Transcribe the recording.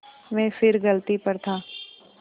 मैं फिर गलती पर था